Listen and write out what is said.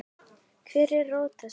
Hver er rót þessa vanda?